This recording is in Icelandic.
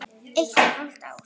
Eitt og hálft ár.